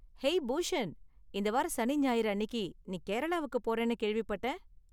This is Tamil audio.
ஹேய் பூஷண், இந்த வார சனி ஞாயிறு அன்னிக்கு நீ கேரளாவுக்கு போறன்னு கேள்விப்பட்டேன்.